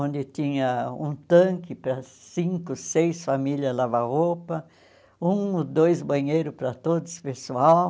onde tinha um tanque para cinco, seis famílias lavar roupa, um ou dois banheiros para todos, pessoal.